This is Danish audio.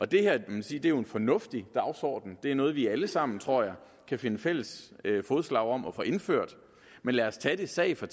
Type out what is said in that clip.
det her er jo en fornuftig dagsorden det er noget vi alle sammen tror jeg kan finde fælles fodslag om at få indført men lad os tage det sag for